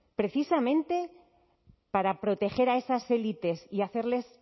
precisamente para proteger a esas élites y hacerles